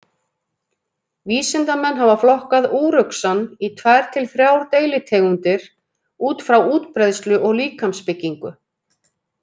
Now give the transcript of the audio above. Vísindamenn hafa flokkað úruxann í tvær til þrjár deilitegundir út frá útbreiðslu og líkamsbyggingu.